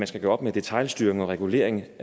skal gøre op med detailstyring og regulering